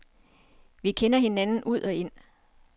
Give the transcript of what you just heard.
Vi kender hinanden ud og ind.